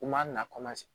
U m'a na